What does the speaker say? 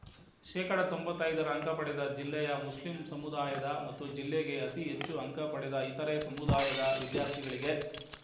ಶೇಕಡಾ ತೊಂಬತ್ತೈದು ಅಂಕ ಪಡೆದ ಜಿಲ್ಲೆಯ ಮುಸ್ಲಿಂ ಸಮುದಾಯದ ಮತ್ತು ಜಿಲ್ಲೆಗೆ ಅತೀ ಹೆಚ್ಚು ಅಂಕ ಪಡೆದ ಇತರೆ ಸಮುದಾಯದ ವಿದ್ಯಾರ್ಥಿಗಳಿಗೆ